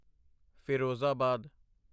Firozabad